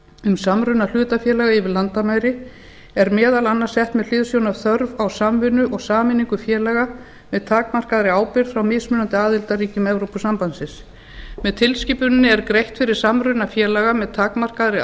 um samruna hlutafélaga yfir landamæri er meðal annars sett með hliðsjón af þörf á samvinnu og sameiningu félaga með takmarkaðri ábyrgð frá mismunandi aðildarríkjum evrópusambandsins með tilskipuninni er greitt fyrir samruna félaga með takmarkaðri